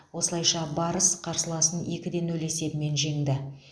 осылайша барыс қарсыласын екіде нөл есебімен жеңді